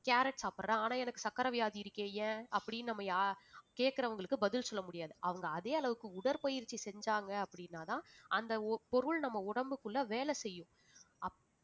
carrot சாப்பிடுறேன், ஆனா எனக்கு சர்க்கரை வியாதி இருக்கே ஏன் அப்படின்னு நம்ம யா~ கேட்கிறவங்களுக்கு பதில் சொல்ல முடியாது அவங்க அதே அளவுக்கு உடற்பயிற்சி செஞ்சாங்க அப்படின்னாதான் அந்த ஓ~ பொருள் நம்ம உடம்புக்குள்ள வேலை செய்யும்